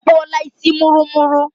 Ọ kpụọla isi mụrụmụrụ.